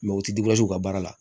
u ti ka baara la